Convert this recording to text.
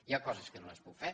hi ha coses que no les puc fer